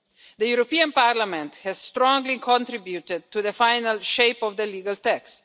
The European Parliament has strongly contributed to the final shape of the legal text.